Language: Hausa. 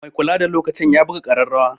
Mai kulada lokacin ya buga ƙararrawa.